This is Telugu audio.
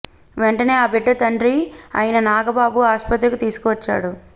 వెంటనే ఆ బిడ్డ తండ్రి అయిన నాగబాబు ఆస్పత్రికి తీసుకు వచ్చాడు